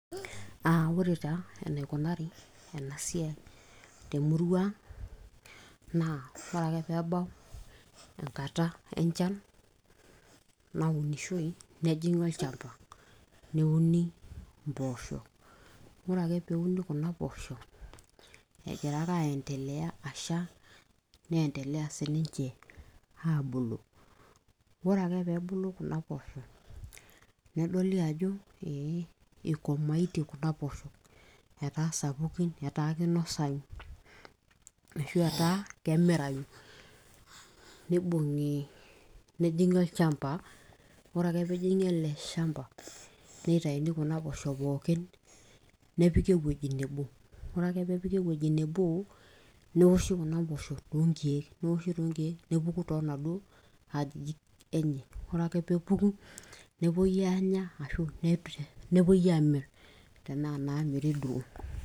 uh, ore taa enaikunari ena siai temurua ang' naa ore ake peebau enkata enchan naunishoi nejing'i olchamba neuni impoosho ore ake peuni kuna poosho egira ake aendeleya asha neendeleya sininche aabulu ore ake peebulu kuna poosho nedoli ajo ee eikomaitie kuna poosho etaa sapukin etaa kinosayu ashu etaa kemirai nibung'i nejing'i olchamba ore ake peejing'i ele shamba neitaini kuna poosho pookin nepiki ewueji nebo ore ake peepiki ewueji nebo neoshi kuna poosho toonkiek neoshi tonkiek nepuku toladuo ajijik enye ore ake peepuku nepuoi aanya ashu nepuoi amirr tenaa inamiri duo.